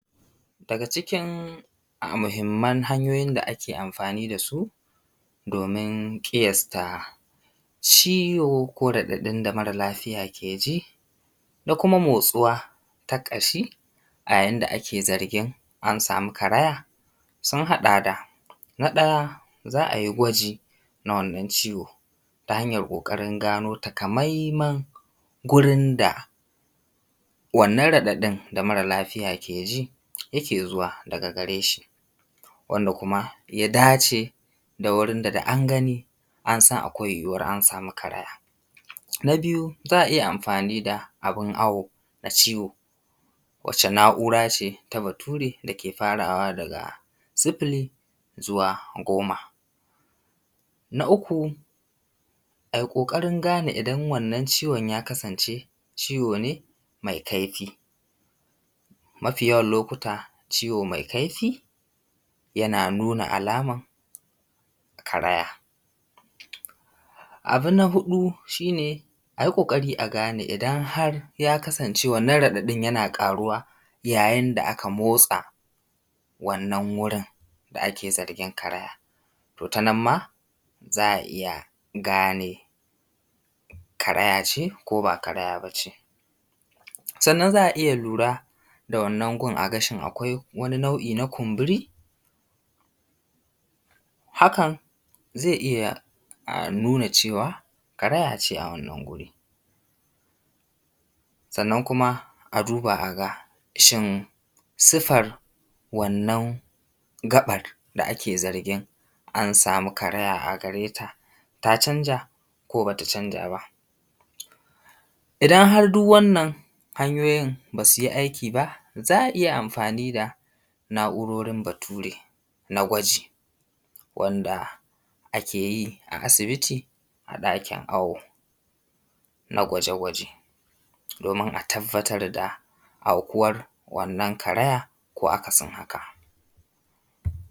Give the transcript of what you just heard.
Daga cikin muhimman hanyoyin da ake amfani da su domin ƙiyasta ciwo ko raɗaɗin da mara lafiya ya ji da kuma motsuwa ta ƙashi a yayin da ake zargin an samu karaya, sun haɗa da, na ɗaya za ai gwaji na wannan ciwo ta hanyar ƙoƙarin gano taƙamaiman gurin da wannan raɗaɗin da mara lafiya yake ji yake zuwa daga gare shi, wanda kuma ya dace da wurin da da an gani an san akwai yiwuwar an samu karaya. Na biyu za a iya amfani da abun awo na ciwo, wacce na’ura ce ta bature da ke farawa daga sifili zuwa goma. Na uku ai ƙoƙarin gane idan wannan ciwon ya kasance ciwo ne mai kaifi. Mafiyawan lokuta ciwo mai kaifi yana nuna alaman karaya. Abu na huɗu shi ne a yi ƙoƙari a gane idan har ya kasance wannan raɗaɗin yana ƙaruwa yayin da aka motsa wannan wurin da ake zargin karaya. To ta nan ma za a iya gane karaya ce ko ba karaya ba ce. Sannan za a iya lura da wannan gun a ga shin akwai wani nau’i na kumburi, hakan zai iya nuna cewa karaya ce a wannan wuri. Sannan kuma a duba a ga shin sifar wannan gaɓar da ake zargin an samu karaya a gare ta ta canja, ko ba ta canja ba. Idan har duk wannan hanyoyin ba su yi aiki ba, za a iya amfani da na’urorin bature na gwaji, wanda ake yi a asibiti a ɗakin awo, na gwaje gwaje domin a tabbatar da aukuwar na karaya ko akasin haka.